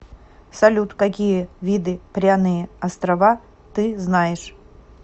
салют какие виды пряные острова ты знаешь